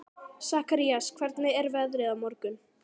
Sakarías, hvernig er veðrið á morgun?